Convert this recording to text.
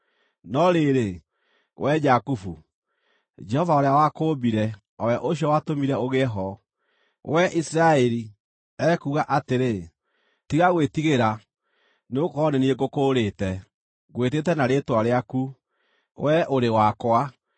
No rĩrĩ, wee Jakubu, Jehova ũrĩa wakũũmbire, o we ũcio watũmire ũgĩe ho, wee Isiraeli, ekuuga atĩrĩ: “Tiga gwĩtigĩra, nĩgũkorwo nĩ niĩ ngũkũũrĩte; Ngwĩtĩte na rĩĩtwa rĩaku; wee ũrĩ wakwa.